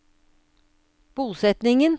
bosetningen